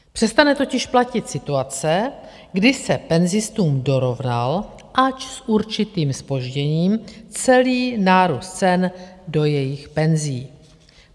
Přestane totiž platit situace, kdy se penzistům dorovnal, ač s určitým zpožděním, celý nárůst cen do jejich penzí.